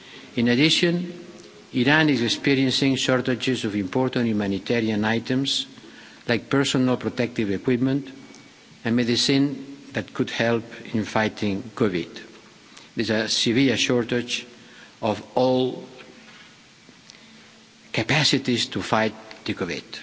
In addition, Iran is experiencing shortages of important humanitarian items, like personal protective equipment and medicine that could help in fighting COVID. There is a severe shortage of all capacities to fight COVID.